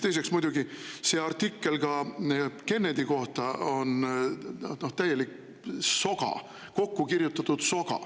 Teiseks on muidugi see artikkel Kennedy kohta, noh, täielik soga, kokku kirjutatud soga.